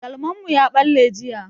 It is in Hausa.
Galman mu ya ɓalle jiya.